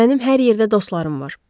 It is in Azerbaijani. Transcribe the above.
Mənim hər yerdə dostlarım var.